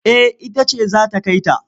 Eh ita ce za ta kai ta.